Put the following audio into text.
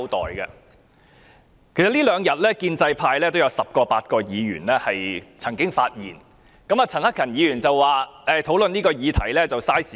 其實，這兩天建制派也有十位八位議員曾經發言，陳克勤議員說討論這項議題浪費時間。